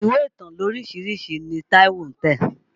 Ìwé ìtàn lóríṣiríṣi ni Táíwó ń tẹ̀.